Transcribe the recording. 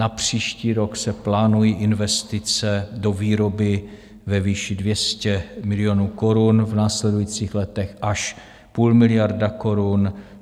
Na příští rok se plánují investice do výroby ve výši 200 milionů korun, v následujících letech až půl miliardy korun.